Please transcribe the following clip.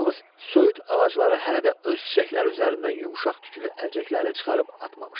Yalnız söyüd ağacları hələ də öz çiçəkləri üzərindən yumşaq tüklü əlcəklərini çıxarıb atmamışdı.